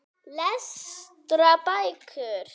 Lestu bækur.